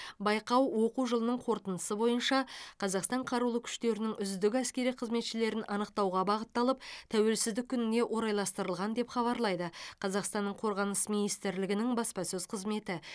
байқау оқу жылының қорытындысы бойынша қазақстан қарулы күштерінің үздік әскери қызметшілерін анықтауға бағытталып тәуелсіздік күніне орайластырылған деп хабарлайды қазақстанның қорғаныс министрлігінің баспасөз қызметі